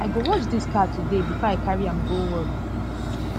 i go wash dis car today before i carry am go work